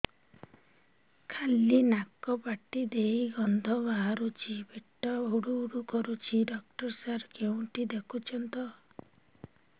ଖାଲି ନାକ ପାଟି ଦେଇ ଗଂଧ ବାହାରୁଛି ପେଟ ହୁଡ଼ୁ ହୁଡ଼ୁ କରୁଛି ଡକ୍ଟର ସାର କେଉଁଠି ଦେଖୁଛନ୍ତ